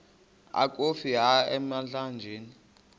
akofi ka emlanjeni